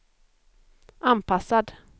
anpassad